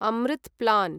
Amrit plan